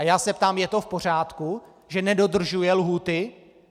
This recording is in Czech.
A já se ptám: Je to v pořádku, že nedodržuje lhůty?